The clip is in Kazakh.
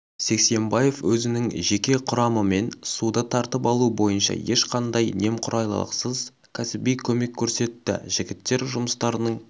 сексембаев өзінің жеке құрамымен суды тартып алу бойынша ешқандай немқұрайлықсыз кәсіби көмек көрсетті жігіттер жұмыстарының